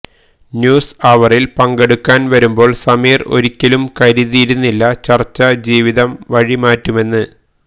news അവരില് പങ്കെടുക്കാന് വരുമ്പോള് സമീര് ഒരിക്കലും കരുതിയിരുന്നില്ല ചര്ച്ച ജീവിതം വഴി മാറ്റുമെന്ന്